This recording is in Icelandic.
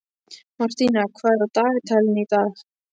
Martína, hvað er á dagatalinu í dag?